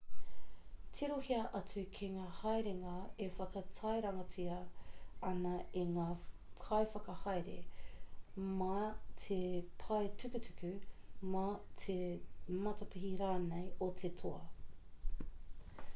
tirohia atu ki ngā haerenga e whakatairangatia ana e ngā kaiwhakahaere mā te pae tukutuku mā te matapihi rānei o te toa